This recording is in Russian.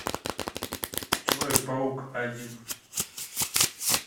человек паук один